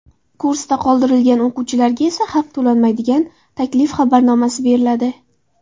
Kursda qoldirilgan o‘quvchilarga esa haq to‘lanmaydigan taklif xabarnomasi beriladi.